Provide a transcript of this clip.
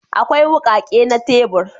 Akwai wukake na tebur